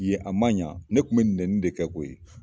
Yen a man ɲan, ne tun bɛ nɛnni de kɛ koyi!